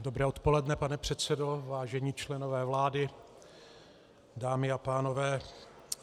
Dobré odpoledne, pane předsedo, vážení členové vlády, dámy a pánové.